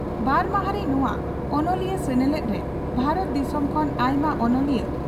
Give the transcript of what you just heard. ᱵᱟᱨ ᱢᱟᱦᱟᱸᱨᱤ ᱱᱚᱣᱟ ᱚᱱᱚᱞᱤᱭᱟᱹ ᱥᱮᱱᱮᱞᱮᱫ ᱨᱮ ᱵᱷᱟᱨᱚᱛ ᱫᱤᱥᱚᱢ ᱠᱷᱚᱱ ᱟᱭᱢᱟ ᱚᱱᱚᱞᱤᱭᱟᱹ